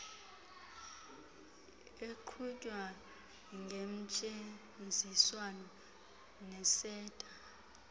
eqhutywa ngentseenziswano neseta